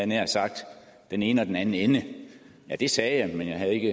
nær sagt den ene og den anden ende ja det sagde jeg men jeg havde